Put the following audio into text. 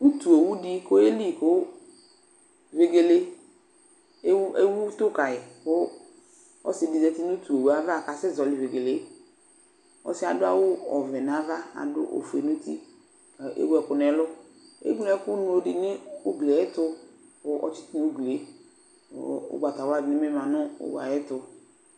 Utuowudɩ k'oyeli kʋ vegele ewu ewu utʋ kayɩ kʋ ɔsɩdɩ zati nʋ utue ava k'asɛ zɔɔlɩ vegelee Ɔsɩɛ adʋ awʋ ɔvɛ n'ava , adʋ ofue n'uti k'ewu ɛkʋ n'ɛlʋ ; eŋlo ɛkʋŋlodɩ nʋ ugli yɛtʋ kʋ , ɔtsɩtʋ n'uglie kʋ ʋgbatawla dɩ bɩ ma nʋ owu ayɛtʋ